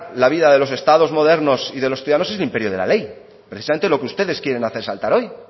la vida de los estados modernos y de los ciudadanos es el imperio de la ley precisamente lo que ustedes quieren hacer saltar hoy